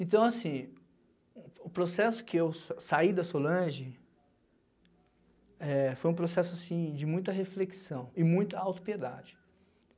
Então, assim, o o processo que eu saí da Solange eh foi um processo, assim, de muita reflexão e muita autopiedade.